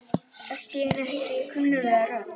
Allt í einu heyri ég kunnuglega rödd.